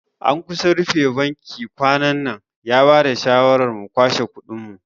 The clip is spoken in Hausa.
An kusa a rufe bankin kwanannan, ya bada shawara mu kwashe kudin mu duka